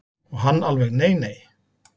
Og hann alveg nei nei.